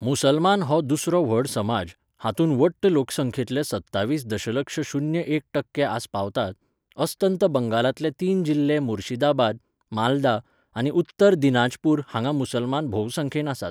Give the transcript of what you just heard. मुसलमान हो दुसरो व्हड समाज, हातूंत वट्ट लोकसंख्येंतले सत्तावीस दशलक्ष शुन्य एक टक्के आसपावतात, अस्तंत बंगालांतले तीन जिल्हे मुर्शिदाबाद, मालदा आनी उत्तर दिनाजपूर हांगां मुसलमान भोवसंख्येन आसात.